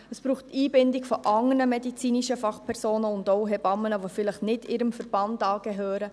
Es braucht die Einbindung von anderen medizinischen Fachpersonen und auch Hebammen, die vielleicht nicht ihrem Verband angehören.